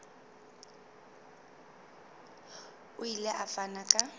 o ile a fana ka